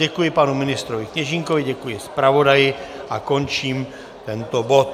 Děkuji panu ministrovi Kněžínkovi, děkuji zpravodaji a končím tento bod.